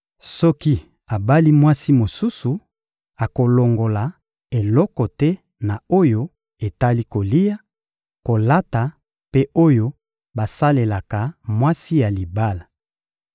Soki abali mwasi mosusu, akolongola eloko te na oyo etali kolia, kolata mpe oyo basalelaka mwasi ya libala.